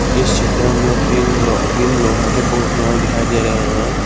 इस चित्र में तीन लो तीन लोहा के बुक रखने वाले दिखाई दे रहे हैं।